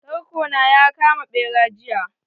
Tarko na ya kama bera jiya.